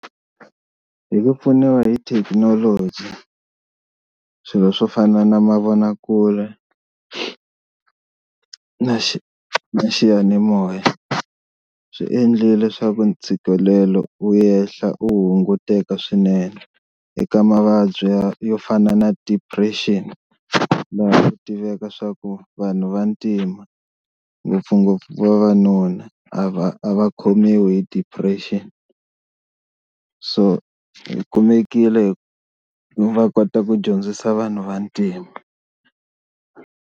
Hi ku pfuniwa hi thekinoloji swilo swo fana na mavonakule na xiyanimoya swi endlile leswaku ntshikelelo wu yehla wu hunguteka swinene eka mavabyi ya yo fana na depression tiveka swa ku vanhu vantima ngopfungopfu vavanuna a va a va khomiwi hi depression, so hi kumekile va kota ku dyondzisa vanhu va ntima.